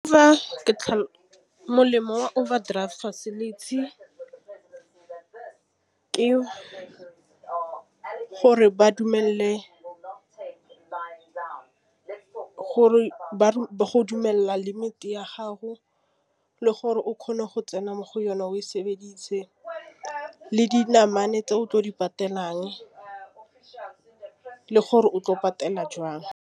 Fa ke molemo wa overdraft facility ke gore ba dumelele go dumela limite ya gago le gore o kgone go tsena mo go yone o e sebedisa ka le dinamane tse o tlo di patelang dijase le gore o tlo patela jang.